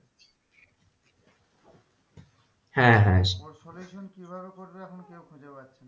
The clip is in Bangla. হ্যাঁ হ্যাঁ ওর solution কিভাবে করবে এখন কেউ খুঁজে পাচ্ছে না।